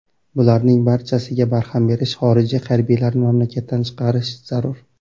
Bularning barchasiga barham berish, xorijiy harbiylarni mamlakatdan chiqarish zarur.